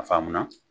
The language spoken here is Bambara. A faamu na